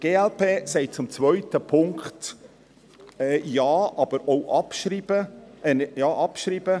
Die glp sagt zum zweiten Punkt Ja, aber auch abschreiben.